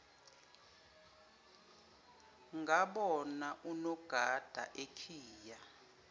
ngabona unogada ekhiya